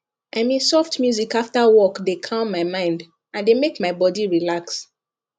i mean soft music after work dey calm my mind and dey make my body relax